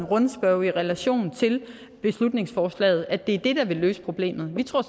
rundspørge i relation til beslutningsforslaget at det er det der vil løse problemet vi tror